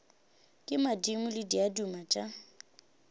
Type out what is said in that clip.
ke madimo le diaduma tša